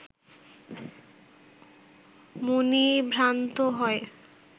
মুনি ভ্রান্ত হয়